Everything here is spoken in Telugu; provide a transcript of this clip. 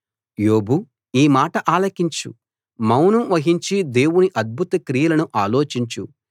యోబు ఈ మాట ఆలకించు మౌనం వహించి దేవుని అద్భుత క్రియలను ఆలోచించు